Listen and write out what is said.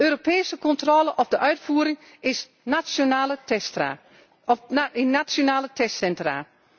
noodzakelijk. Europese controle op de uitvoering in nationale